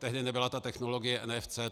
Tehdy nebyla ta technologie NFC.